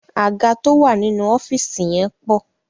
Àga tó wà nínú ọ́fíìsì yẹn pọ̀.